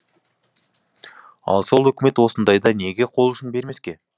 ал сол үкімет осындайда неге қол ұшын бермеске